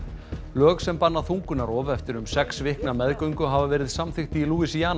lög sem banna þungunarrof eftir um sex vikna meðgöngu hafa verið samþykkt í